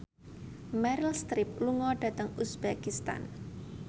Meryl Streep lunga dhateng uzbekistan